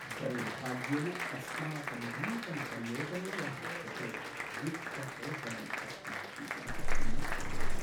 दौर्भाग्येन अस्माकं नूतनपरियोजनायाः कृते वित्तपोषणम् अस्माभिः न प्राप्तम्।